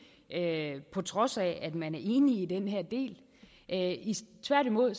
ikke på trods af at man er enig i den her del tværtimod